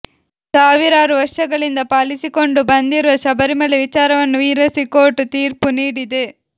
ಸಾವಿರಾರು ವರ್ಷಗಳಿಂದ ಪಾಲಿಸಿಕೊಂಡು ಬಂದಿರುವ ಶಬರಿಮಲೆ ವಿಚಾರವನ್ನು ವಿರೋಸಿ ಕೋರ್ಟ್ ತೀರ್ಪು ನೀಡಿದೆ